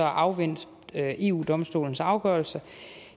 afvente eu domstolens afgørelse